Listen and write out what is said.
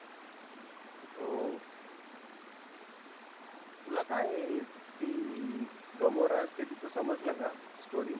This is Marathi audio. हो तुला काय ती gamora असते तीच समजलं का story?